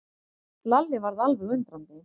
Lalli varð alveg undrandi.